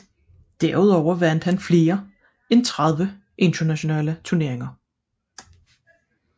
Derudover vandt han flere end 30 internationale turneringer